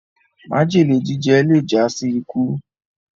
májèlé jíjẹ le já sí ikú